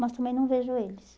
Mas também não vejo eles.